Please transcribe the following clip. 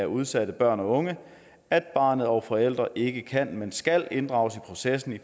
udsatte børn og unge at barnet og forældre ikke kan men skal inddrages i processen